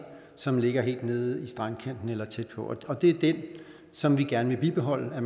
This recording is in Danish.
som ligger helt nede i strandkanten eller tæt på og det er det som vi gerne vil bibeholde